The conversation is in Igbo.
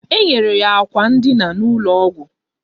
Enyere ya akwa ndịna n'ụlọ ọgwụ